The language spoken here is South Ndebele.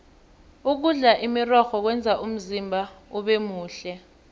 ukudla imirorho kwenza umzimba ubemuhle